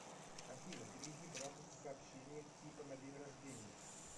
афина переведи брату с сообщением типа на день рождения